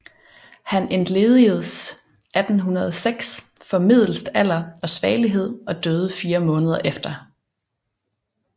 Han entledigedes 1806 formedelst alder og svagelighed og døde fire måneder efter